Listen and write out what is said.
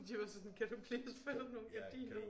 De var sådan kan du please få dig nogle gardiner